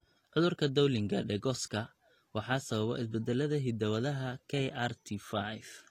Cudurka Dowling Degoska waxaa sababa isbeddellada hidda-wadaha KRT5.